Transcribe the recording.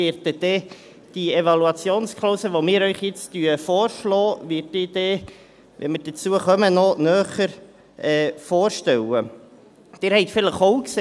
Die Evaluationsklausel, die wir Ihnen jetzt vorschlagen, werde ich dann noch näher vorstellen, wenn wir zu dieser kommen.